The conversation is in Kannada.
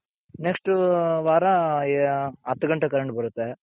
next ವಾರ ಹತ್ ಘಂಟೆಗೆ current ಬರುತ್ತೆ.